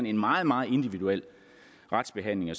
en meget meget individuel retsbehandling